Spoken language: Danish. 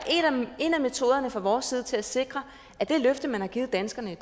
en af metoderne fra vores side til at sikre at det løfte man har givet danskerne